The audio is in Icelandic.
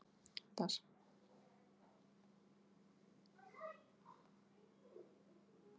Á fyrirhuguðum lendingarstað varð umhverfið að vera jarðfræðilega áhugavert.